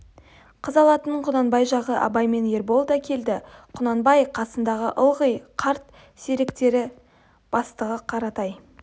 қыз алатын құнанбай жағы абай мен ербол да келді құнанбай қасындағы ылғи қарт серіктері бастығы қаратай